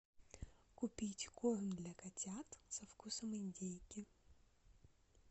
купить корм для котят со вкусом индейки